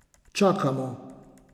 Čakamo!